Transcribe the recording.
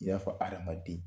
I y'a fɔ hadamaden